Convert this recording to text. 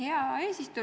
Hea eesistuja!